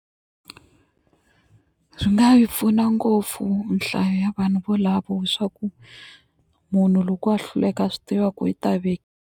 Swi nga yi pfuna ngopfu nhlayo ya vanhu volavo swa ku munhu loko a hluleka a swi tiva ku yi ta .